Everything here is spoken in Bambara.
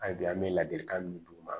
An bi yan an bɛ ladilikan min d'u ma